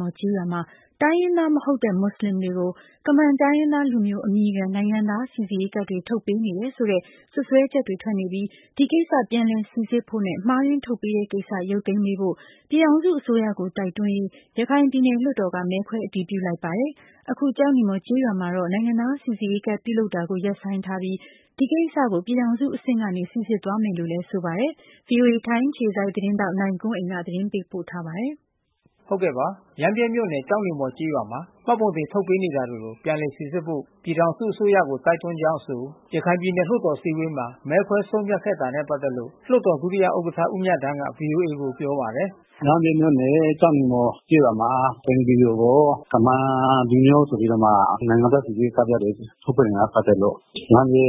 မှာ တိုင်းရင်းသားမဟုတ်တဲ့ မွတ်ဆလင်တွေကို ကမန်တိုင်းရင်း သားလူမျိုးအမည်ခံ နိုင်ငံသားစီစစ်ရေးကတ်တွေ ထုတ်ပေးနေတယ်ဆိုတဲ့ စွပ်စွဲချက်တွေထွက်နေပြီး ဒီကိစ္စ ပြန်လည်စီစစ်ဖို့နဲ့ မှားယွင်းထုတ်ပေးတဲ့ကိစ္စ ရုပ်သိမ်းပေးဖို့ ပြည်ထောင်စုအစိုးရကို တိုက်တွန်းရေး ရခိုင်ပြည်နယ် လွှတ်တော်က မဲခွဲအတည်ပြုလိုက်ပါတယ်။ အခု ကျောက်နီမော် ကျေးရွာမှာတော့ နိုင်ငံသား စီစစ်ရေးကဒ် ပြုလုပ် တာကိုရပ်ဆိုင်းထားပြီး ဒီကိစ္စပြည်ထောင်စုအဆင့်ကနေ စီစစ်သွားမယ်လို့လဲဆိုပါတယ်။ VOA ထိုင်းအခြေစိုက် သတင်းထောက်နိုင်ကွန်းအိန်ကနေ သတင်းပေးပို့ထားပါတယ်။ ရမ်းဗြဲမြို့နယ် ကျောက်နီမော်ကျေးရွာမှာ မှတ်ပုံတင်ထုတ်ပေးနေတာတွေကို ပြည်လည်စီစစ်ဖို့ ပြည်ထောင်စုအစိုးရ ကို တိုက်တွန်းကြောင်းအဆို ရခိုင်ပြည်နယ်လွှတ်တော်အစည်းအဝေးမှာ မဲခွဲဆုံးဖြတ်ခဲ့တာနဲ့ပတ်သက်ပြီး လွှတ် တော်ဒုတိယဥက္ကဌ ဦးမြသန်းက ဗွီအိုအေကိုပြောပါတယ်။ "ရမ်းဗြဲမြို့နယ် ကျောက်နီမော်ကျေးရွာမှာ ဘင်္ဂလီတွေကို ကမန်လူမျိုးဆိုပြီးတော့မှ နိုင်ငံသားစီစစ်ရေးကဒ်ပြားတွေ ထုတ်ပေးနေတာနဲ့ပက်သက်လို့ ရမ်းဗြဲ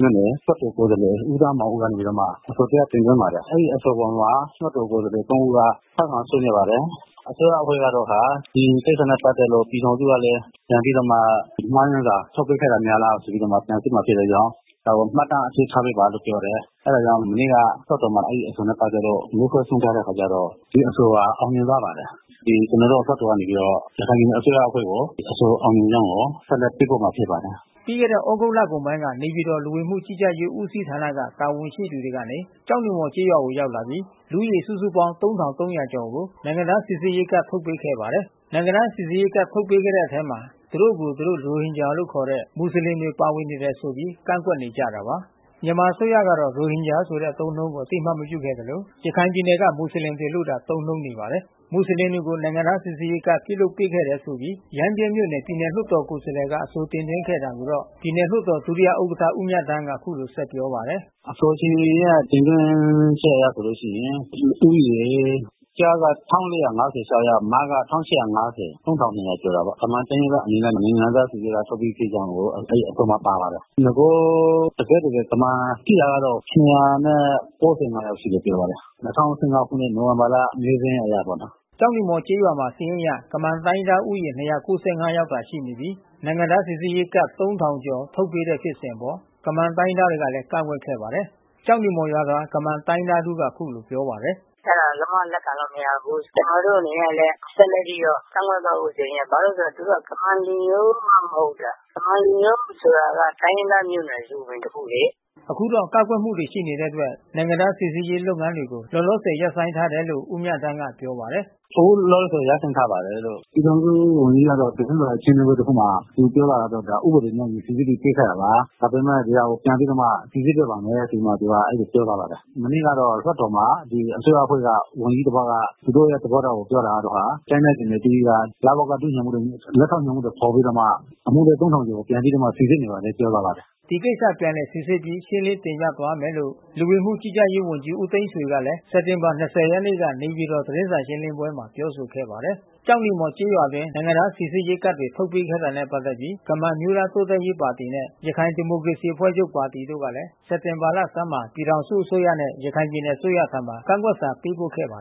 မြို့နယ် လွှတ်တော်ကိုယ်စားလှယ် ဦးသန်းမောင်ဦးကနေပြီးတော့မှ အဆို တရပ် တင်သွင်းပါတယ်။ အဲဒီအဆိုအပေါ်မှာ လွှတ်တော် ကိုယ်စားလှယ် ဦးက ထောက်ခံဆွေးနွေး ပါတယ်။ အစိုးရ အဖွဲ့ကတော့ ဒီကိစ္စနဲ့ ပတ်သက်လို့ပြည်ထောင်စု ကလဲ မှားယွင်းစွာ ထုတ်ပေးခဲ့တာများလားဆိုပြီးမှ ပြန်စစ်မှာဖြစ် တဲ့အတွက်ကြောင့် ဒါကိုမှတ်တမ်းအဖြစ်ထားပေးဖို့ပြောတယ်။ အဲတာကြောင့်မနေ့ကလွှတ်တော်မှာ အဲဒီအဆိုနဲ့ ပတ်သက်လို့မဲခွဲဆုံးဖြတ်တဲ့အခါကျတော့ ဒီအဆိုဟာ အောင်မြင်သွားပါတယ်။ ကျွန်တော် တို့လွှတ်တော်က နေပြီး တော့ ရခိုင်ပြည်နယ်အစိုးရအဖွဲ့ ကို အဆိုအောင်မြင်ကြောင်းကို ဆက်လက်ပေးပို့မှာ ဖြစ်ပါတယ်။" ပြီးခဲ့တဲ့သြဂုတ်လကုန်ပိုင်းမှာ နေပြည်တော် လူဝင်မှုကြီးကြပ်ရေးဦးစီးဌာနက တာဝန်ရှိသူတွေကနေ ကျောက်နီမော် ကျေးရွာကိုရောက်လာပြီး လူဦးရေ စုစုပေါင်း ၃၃၀၀ ကျော်ကို နိုင်ငံသားစိစစ်ရေးကဒ်တွေထုတ်ပေးခဲ့ပါတယ်။ နိုင်ငံသား စိစစ်ရေးကဒ် ထုတ်ပေးတဲ့အထဲမှာ သူတို့ကို သူတို့ ရိုဟင်ဂျာလို့ခေါ်တဲ့ မူဆလင်တွေ ပါနေတယ်ဆိုပြီး ကန့်ကွက်နေကြတာပါ။ မြန်မာအစိုးရကတော့ ရိုဟင်ဂျာဆိုတဲ့ အသုံးအနှုန်းကို အသိအမှတ်ပြုဖို့ ငြင်းဆိုထား သလို ရခိုင်ပြည်နယ်က မွတ်ဆလင်တွေ အဖြစ်သာ ခေါ်ဝေါ်သုံးနှုန်းပါတယ်။ မွတ်ဆလင်တွေကို နိုင်ငံသားစီစစ်ရေးကဒ်တွေပြုလုပ်ပေးခဲ့တယ်ဆိုပြီး ရမ်းဗြဲမြို့နယ် ပြည်နယ်လွှတ်တော် ကိုယ် စားလှယ်က အဆိုတင်သွင်းခဲ့တာကိုတော့ ပြည်နယ်လွှတ်တော် ဒုတိယဥက္ကဌဦးမြသန်း ကအခုလို ဆက်ပြောပါတယ်။ "အဆိုရှင်ရဲ့တင်သွင်းချက်အရဆိုလို့ရှိရင် လူဦးရေ ကျားက ယောက် မက ကျော်တယ်ပေါ့။ ကမန်တိုင်းရင်းသားအမည်နဲ့ နိုင်ငံသား စိစစ်ရေးကဒ်ပြားထုတ်ပေးပြီးဖြစ်ကြောင်းကို အဲဒီအဆိုမှာ ပါပါတယ်။ နဂို တကယ့် တကယ်ကမန်ရှိတာကတော့ ယောက်ရှိတယ်ပြောတယ်။ ခုနှစ်နိုဝင်ဘာလ မဲစာရင်းအရပေါ့။" ကျောက်နီမော်ကျေးရွာမှာ စာရင်းအရ ကမန်တိုင်းရင်းသားဦးရေ ယောက် သာရှိနေပြီး နိုင်ငံသားစီစစ်ရေး ကတ် ကျော် ထုတ်ပေးတဲ့ဖြစ်စဉ်အပေါ် ကမန်တိုင်းရင်းသားတွေကလဲ ကန့်ကွက်ခဲ့ပါတယ်။ ကျောက်နီ မော်ရွာသား ကမန် တိုင်းရင်းသားတဦးက အခုလို ပြောပါတယ်။ "အဲတာဘယ်လိုမှ လက်ခံလို့မရဘူး။ ကျွန်တော်တို့အနေနဲ့လဲ ဆက်လက်ပြီးတော့ ကန့်ကွက်သွားဖို့ ဆိုရင် ဘာလို့ လဲဆိုတော့ သူတို့က ကမန်လူမျိုးမှမဟုတ်ဘဲ။ ကမန်လူမျိုး ဆိုတာ တိုင်းရင်းသားမျိုးနွယ်စုတခုလေ။" အခုတော့ ကန့်ကွက်မှုတွေရှိတဲ့အတွက် နိုင်ငံသားစိစစ်ရေးလုပ်ငန်းတွေကို လောလောဆယ် ရပ်ဆိုင်းထားတယ်လို့ ဦးမြသန်း ကပြောပါတယ်။ "အခုလောလောဆယ်ဆယ်ရပ်ဆိုင်းထားပါတယ်လို့။ ပြည်ထောင်စုဝန်ကြီး ကတော့သတင်းစာရှင်းလင်းပွဲ တခုမှာ သူပြောသွားတာကတော့ ဒါဥပဒေနဲ့ အညီစီစစ်ပြီးချပေး တာလား။ ဒါပေမဲ့ ဒီဟာကိုပြန်ပြီးမှ စီစစ်ပေးပါမယ် ဆိုပြီး တော့မှ သူကပြောသွားပါတယ်။ မနေ့ကလွှတ်တော်မှာ အစိုးရအဖွဲ့က ဝန်ကြီးတပါးက သူတို့ရဲ့သဘောထားကို ပြောသွားတာကတော့ တိုင်းနဲ့ပြည်နယ်အသီးသီးက လဝကဒုညွှန်မှူးတွေ လက်ထောက်ညွှန်မှူးတွေခေါ်ပြီးတော့မှ အမှုတွဲ ကျော် ကိုပြန်ပြီးတော့မှ စိစစ်နေပါတယ်ပြောသွားပါတယ်။" ဒီကိစ္စ ပြန်လည်စိစစ်ပြီး ရှင်းလင်းတင်ပြသွားမယ်လို့ လူဝင်မှုကြီးကြပ်ရေးဝန်ကြီး ဦးသိန်းဆွေ ကလည်း စက်တင် ဘာ ရက်နေ့က နေပြည်တော် သတင်းစာရှင်းလင်းပွဲ မှာပြောဆိုခဲ့ပါတယ်။ ကျောက်နီမော်ကျေးရွာအတွင်း နိုင်ငံသား စီစစ်ရေးကဒ်တွေ ထုတ်ပေးခဲ့တာနဲ့ ပတ်သက်ပြီး ကမန်အမျိုးသား တိုးတက်ရေးပါတီနဲ့ ရခိုင်ဒီမိုကရေစီ အဖွဲ့ချုပ်ပါတီတို့ကလည်း စက်တင်ဘာဆန်းမှာ ပြည်ထောင်စုအစိုးရနဲ့ ရခိုင်ပြည်နယ်အစိုးရထံ ကန့်ကွက်စာပေးပို့ ခဲ့ပါတယ်